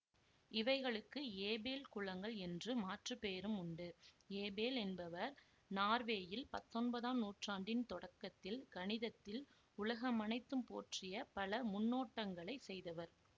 இவைகளுக்கு ஏபெல் குலங்கள் என்ற மாற்று பெயரும் உண்டு ஏபெல் என்பவர் நார்வேயில் பத்தொன்பதாம் நூற்றாண்டின் தொடக்கத்தில் கணிதத்தில் உலகமனைத்தும் போற்றிய பல முன்னோட்டங்களைச் செய்தவர்